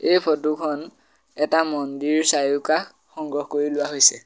এই ফটোখন এটা মন্দিৰ চাৰিওকাষ সংগ্ৰহ কৰি লোৱা হৈছে।